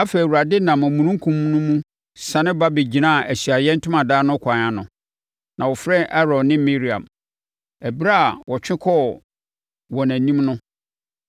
Afei, Awurade nam omununkum no mu siane ba bɛgyinaa Ahyiaeɛ Ntomadan no kwan ano, na ɔfrɛɛ Aaron ne Miriam. Ɛberɛ a wɔtwe kɔɔ wɔn anim no,